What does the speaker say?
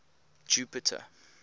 jupiter